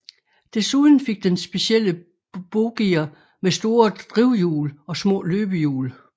Desuden fik den specielle bogier med store drivhjul og små løbehjul